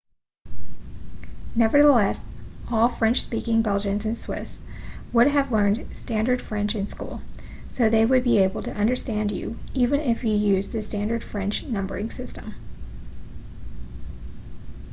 nevertheless all french-speaking belgians and swiss would have learned standard french in school so they would be able to understand you even if you used the standard french numbering system